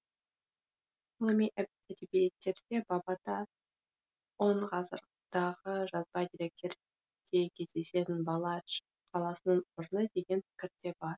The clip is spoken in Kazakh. ғылыми әдебиеттерде бабата он ғасырдағы жазба деректерде кездесетін баладж қаласының орны деген пікір де бар